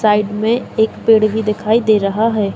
Side में एक पेड़ भी दिखाई दे रहा है।